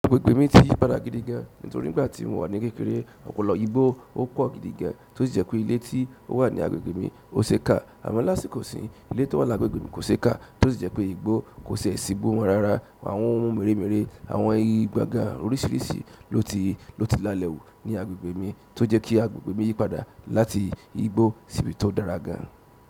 Agbègbè mi ti yìí padà gidi gan, nítorí nígbà tí mo wà ní kékeré, ọ̀pọ̀lọpọ̀ igbó ó pọ̀ gidi gan, tó sì jẹ́ pé ilé tí ó wà ní agbègbè mi ó ṣe é ká. Àmọ́ lásìkò isin, ilé tó wà lágbègbè mi kò ṣe é ká, to si jẹ́ pé igbó kò ṣi e si igbó mọ́ rárá. Àwọn ohun mèremère, àwọn igi gbangba oríṣiríṣi ló ti, ló ti lalẹ̀ hù ní agbègbè mi tó jẹ́ kí agbègbè mi yípadà láti igbó sí ibi tó dára gan.